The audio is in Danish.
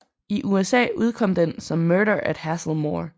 I USA udkom den som Murder at Hazelmoor